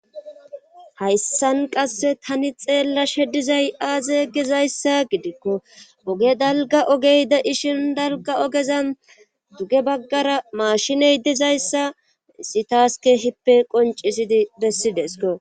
Hayssan qasse tani xeella shedizay aaze gizayssa gidikko oge dalga ogey de ishin dalga ogeza duge baggara maashiney dizayssa sitaaske hippe qoncisidi bessidesko.